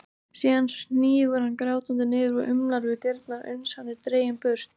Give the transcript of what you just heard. Síðan hnígur hann grátandi niður og umlar við dyrnar uns hann er dreginn burt.